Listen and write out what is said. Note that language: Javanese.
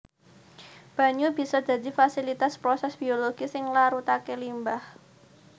Banyu bisa dadi fasilitas prosès biologi sing nglarutaké limbah